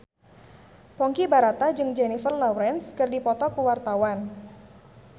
Ponky Brata jeung Jennifer Lawrence keur dipoto ku wartawan